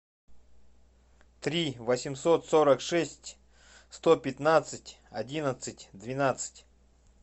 три восемьсот сорок шесть сто пятнадцать одиннадцать двенадцать